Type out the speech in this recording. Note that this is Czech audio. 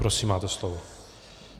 Prosím, máte slovo.